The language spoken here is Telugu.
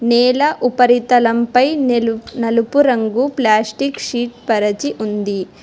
నేల ఉపరితలంపై నలుపు రంగు ప్లాస్టిక్ షీట్ పరచి ఉంది.